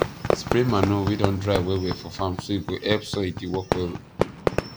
spray manure wey don dry well well for farm so e go help soil dey work well